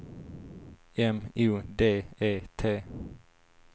M O D E T